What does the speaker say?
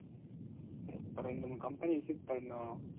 அப்பறம் ரெண்டு, மூணு company visit பண்ணோம்.